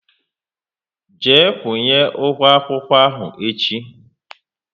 Jee kwunye ụgwọ akwụkwọ ahụ echi!